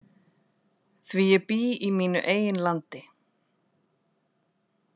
Því ég bý í mínu eigin landi.